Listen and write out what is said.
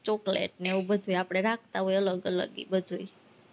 chocolate ને એવું બધું આપણે રાખતા હોય આપણે અલગ-અલગ, ઈ બધુંય